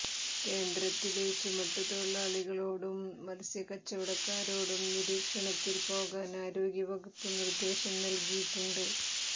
കേന്ദ്രത്തിലെ ചുമട്ടു തൊഴിലാളികളോടും മത്സ്യ കച്ചവടക്കാരോടും നിരീക്ഷണത്തിൽ പോകാൻ ആരോഗ്യ വകുപ്പ് നിർദേശം നൽകിയിട്ടുണ്ട്